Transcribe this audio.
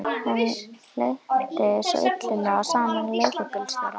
Honum lenti svona illilega saman við leigubílstjóra.